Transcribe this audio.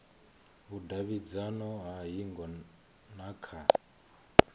vhudavhidzano ha hingo na kha